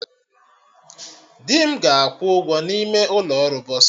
Di m ga-akwụ ụgwọ n'ime ụkọ ọrụ bọsa